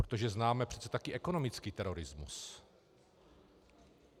Protože známe přece taky ekonomický terorismus.